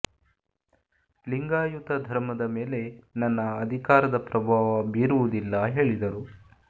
ಲಿಂಗಾಯತ ಧರ್ಮದ ಮೇಲೆ ನನ್ನ ಅಧಿಕಾರದ ಪ್ರಭಾವ ಬೀರುವುದಿಲ್ಲ ಹೇಳಿದರು